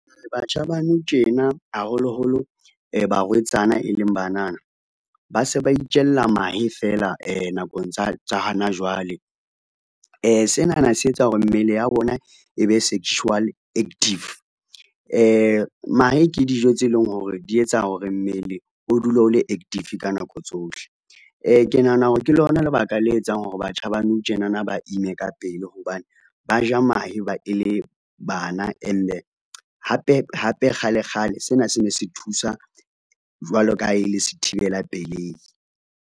Batjha ba nou tjena haholoholo barwetsana e leng banana, ba se ba itjella mahe fela nakong tsa hona jwale. Sena na se etsa hore mmele ya bona e be sexually active. Mahe ke dijo tse leng hore di etsa hore mmele o dule o le active ka nako tsohle, ke nahana hore ke lona lebaka le etsang hore batjha ba nou tjenana ba ime ka pele hobane ba ja mahe ba e le bana ene hape hape kgale kgale, sena se ne se thusa jwalo ka ha e le sethibela pelei.